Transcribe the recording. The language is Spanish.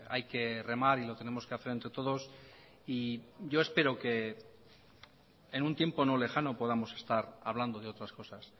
hay que remar y lo tenemos que hacer entre todos y yo espero que en un tiempo no lejano podamos estar hablando de otras cosas